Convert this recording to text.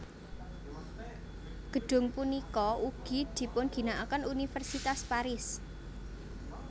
Gedung punika ugi dipunginakaken Universitas Paris